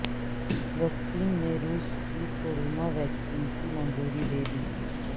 فلسطین نے روس کی کورونا ویکسین کی منظوری دے دی